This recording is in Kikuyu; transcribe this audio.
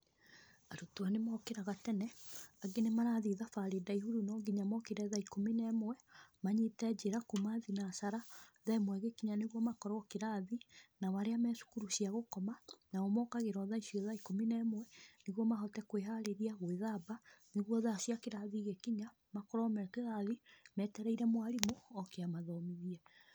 Arutwo nĩ mokĩraga tene, angĩ nĩ marathiĩ thabarĩ ndaihũ nonginya mokĩre thaa ikũmi na ĩmwe, manyite njĩra kuuma thinacara, thaa ĩmwe ĩgĩkinya nĩguo makorwo kĩrathi. Nao arĩa me thukuru cia gũkoma, nao mokagĩra o thaa icio thaa ikũmi na ĩmwe nĩguo mahote kwĩharĩria, gwĩthamba nĩguo thaa cia kĩrathi igĩkinya makorwo me kĩrathi metereire mwarimũ oke amathomithie.